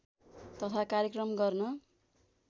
तथा कार्यक्रम गर्न